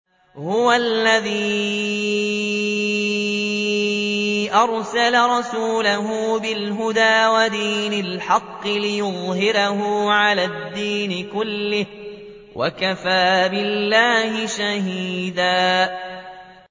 هُوَ الَّذِي أَرْسَلَ رَسُولَهُ بِالْهُدَىٰ وَدِينِ الْحَقِّ لِيُظْهِرَهُ عَلَى الدِّينِ كُلِّهِ ۚ وَكَفَىٰ بِاللَّهِ شَهِيدًا